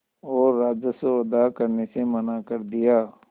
और राजस्व अदा करने से मना कर दिया